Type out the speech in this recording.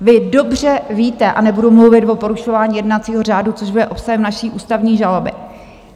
Vy dobře víte - a nebudu mluvit o porušování jednacího řádu, což bude obsahem naší ústavní žaloby.